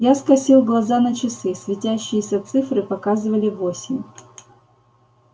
я скосил глаза на часы светящиеся цифры показывали восемь